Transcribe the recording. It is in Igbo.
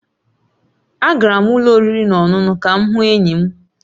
Agara m ụlọ oriri na ọṅụṅụ ka m hụ enyi m